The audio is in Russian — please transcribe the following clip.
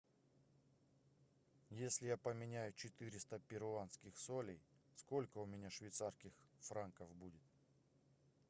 если я поменяю четыреста перуанских солей сколько у меня швейцарских франков будет